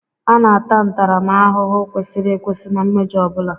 A na-ata ntaramahụhụ kwesịrị ekwesị na mmejọ ọ bụla